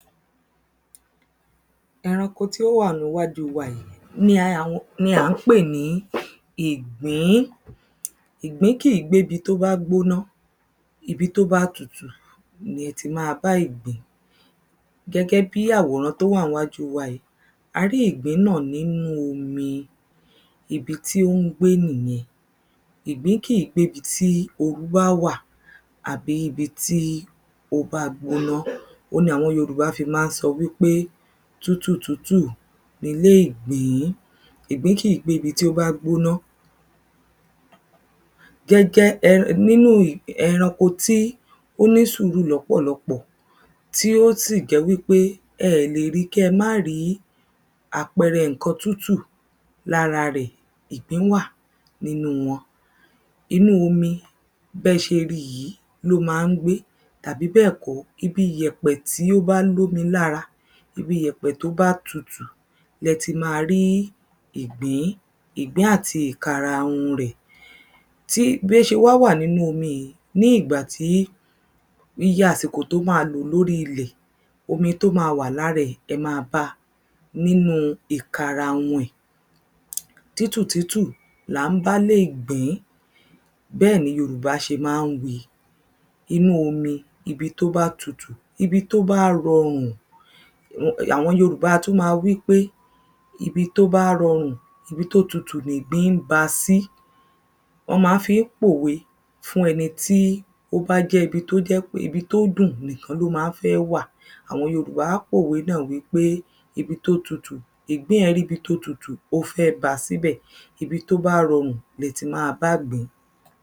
Ẹranko tí ò wà níwájú wa yìí ni à ń um ni à ń pè ní ìgbín. Ìgbín kìí gbé ibi tó bá gbóná. Ibi tó bá tutù ni ẹ ti máa bá ìgbín. Gẹ́gẹ́ bí àwòrán tó wà níwájú wa yìí. A rí ìgbín náà nínú omi. Ibi tí ó ń gbé nìyen. Ìgbín kìí gbé ibi tí oɹú bá wà. Àbí ibi tí ó bá gbóná. Òun ní àwọn yorùbá fí má ń sọ wípé, tútù tútù nilé ìgbín. Ìgbín kìí gbé ibi tó bá gbóná. Gẹ́gẹ́ um nínù ẹranko tí ó nísùúrù lọ́pọ̀lọpọ̀. Tí ó sì jẹ́ wípé ẹ lè rí kí ẹ má rí. Àpẹrẹ nǹkan tútù lára ɹẹ̀. Ìgbín wà nínú wọn. Inú omi bẹ́ ṣe rí yìí ló má ń gbé. Tàbí bẹ́ẹ̀ kó. Ibi ìyẹ̀pẹ̀ tó bá lómi lára, Ibi ìyẹ̀pẹ̀ tó bá tutú lẹ ti máa rí ìgbín. Ìgbín àti ìkarahun rẹ̀. Tí bí ó ṣe wá wà nínú omi yìí ní ìgbàtí iye àsìkò tí ó má lò lórí ilẹ̀ Omi tó má wà lára ẹ̀ ẹ má báa nínú ìkarahun rẹ̀. tútù tútù ni à ń bálé ìgbín. Bẹ́ẹ̀ ni yorùbá ṣe má ń wíi, inú omi, Ibi tó bá tutù, ibi tó bá rorùn. um àwọn yorùbá a tún má wípé, ibi tó bá rorùn ibi tó tutù nìgbín ba sí. Wón má ń fí pòwe fún ẹnití ó bá jẹ́ pé ibi tó jẹ́ pé ibi tó dùn nìkan ló má ń fẹ́ wà. Àwọn yorùbá á pòwe náà wípé, ibi tó tutù Ìgbín è rí ibi tó tutù ó fẹ́ ba síbẹ̀, ibi tó bá rọrùn lẹ ti máa bá ìgbín.